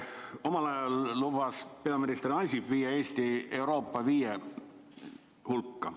Omal ajal lubas peaminister Ansip viia Eesti Euroopa viie esimese riigi hulka.